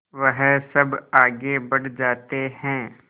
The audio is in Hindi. वह सब आगे बढ़ जाते हैं